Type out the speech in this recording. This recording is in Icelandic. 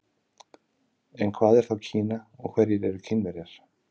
En hvað er þá Kína og hverjir eru Kínverjar?